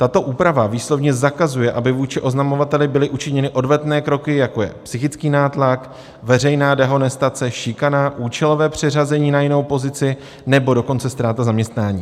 Tato úprava výslovně zakazuje, aby vůči oznamovateli byly učiněny odvetné kroky, jako je psychický nátlak, veřejná dehonestace, šikana, účelové přeřazení na jinou pozici, nebo dokonce ztráta zaměstnání.